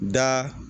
Da